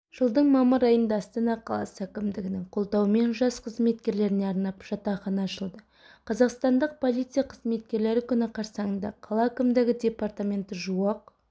жылдың мамыр айында астана қаласы әкімдігінің қолдауымен жас қызметкерлеріне арнап жатақхана ашылды қазақстандық полиция қызметкерлері күні қарсаңында қала әкімдігі департаментті жуық